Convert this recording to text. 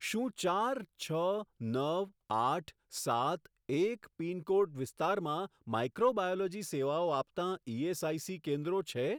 શું ચાર છ નવ આઠ સાત એક પિનકોડ વિસ્તારમાં માઈક્રોબાયોલોજી સેવાઓ આપતાં ઇએસઆઇસી કેન્દ્રો છે?